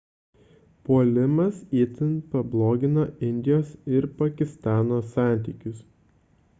puolimas itin pablogino indijos ir pakistano santykius